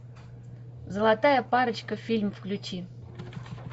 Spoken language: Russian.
золотая парочка фильм включи